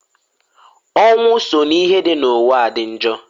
Ọnwụ so n'ihe dị n'ụwa dị njọ.